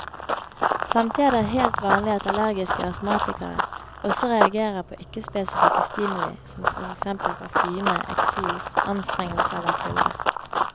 Samtidig er det helt vanlig at allergiske astmatikere også reagerer på ikke spesifikke stimuli som for eksempel parfyme, eksos, anstrengelse eller kulde.